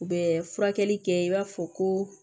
U bɛ furakɛli kɛ i b'a fɔ ko